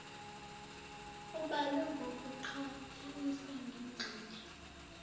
ubalwe ngokuqhathanisa nengxenye